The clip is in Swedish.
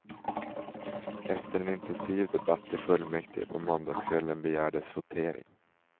Efter en intensiv debatt i fullmäktige på måndagskvällen begärdes votering.